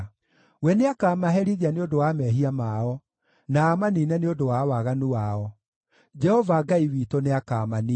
We nĩakamaherithia nĩ ũndũ wa mehia mao na amaniine nĩ ũndũ wa waganu wao; Jehova Ngai witũ nĩakamaniina.